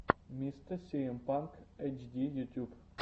мистэ сиэм панк эйтчди ютюб